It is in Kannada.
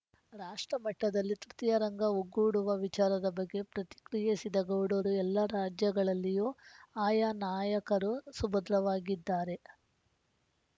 ರಾಷ್ಟ್ರಮಟ್ಟದಲ್ಲಿ ತೃತೀಯ ರಂಗ ಒಗ್ಗೂಡುವ ವಿಚಾರದ ಬಗ್ಗೆ ಪ್ರತಿಕ್ರಿಯಿಸಿದ ಗೌಡರು ಎಲ್ಲಾ ರಾಜ್ಯಗಳಲ್ಲಿಯೂ ಆಯಾ ನಾಯಕರೂ ಸುಭದ್ರವಾಗಿದ್ದಾರೆ